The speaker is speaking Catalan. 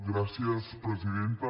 gràcies presidenta